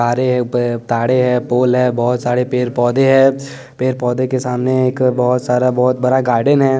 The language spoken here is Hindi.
तारे हैं ताड़े हैं पोल है बहुत सारे पेड़ पौधे हैं पेड़ पौधे के सामने एक बहुत सारा बहुत बड़ा गार्डन है।